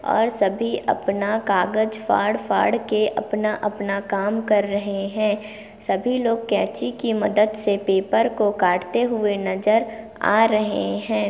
और सभी अपना कागज़ फाड़-फाड़ के अपना-अपना काम कर रहे है सभी लोग कैंची की मदद से पेपर को काटते हुए नज़र आ रहे है।